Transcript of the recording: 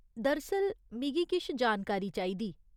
दरअसल, मिगी किश जानकारी चाहिदी।